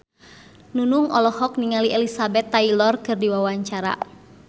Nunung olohok ningali Elizabeth Taylor keur diwawancara